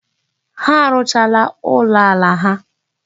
Ha arụchaala ụlọala ha.